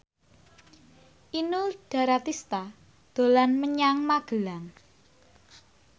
Inul Daratista dolan menyang Magelang